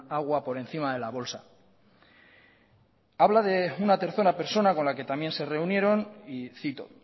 agua por encima de la bolsa habla de una tercera persona con la que también se reunieron y cito